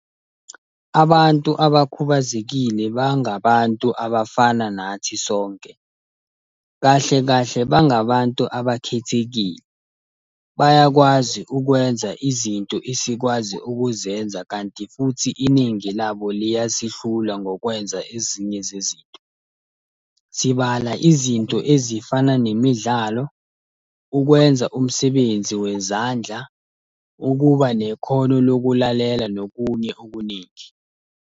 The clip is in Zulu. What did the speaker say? Abantu abakhubazekile bangabantu abafana nathi sonke. Kahle kahle bangabantu abakhethekile. Bayakwazi ukwenza izinto esikwazi ukuzenza kanti futhi iningi labo liyasihlula ngokwenza ezinye zezinto. Sibala izinto ezifana nemidlalo, ukwenza umsebenzi wezandla, ukuba nekhono lokulalela nokunye okuningi.